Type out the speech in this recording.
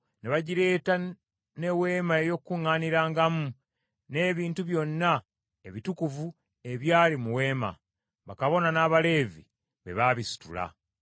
ne bagireeta, n’Eweema ey’Okukuŋŋaanirangamu, n’ebintu byonna ebitukuvu ebyali mu weema. Bakabona n’Abaleevi be baabisitula.